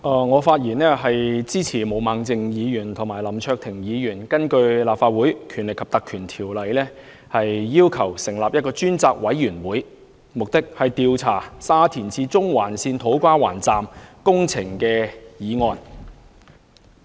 我發言支持毛孟靜議員及林卓廷議員提出的議案，要求根據《立法會條例》成立一個專責委員會，調查沙田至中環線土瓜灣站的工程。